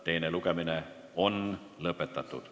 Teine lugemine on lõpetatud.